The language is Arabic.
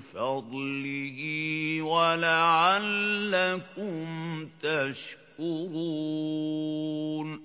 فَضْلِهِ وَلَعَلَّكُمْ تَشْكُرُونَ